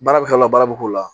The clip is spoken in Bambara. Baara bɛ k'o la baara bɛ k'o la